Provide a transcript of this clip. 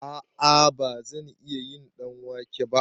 A'a bazan iya yin ɗanwake ba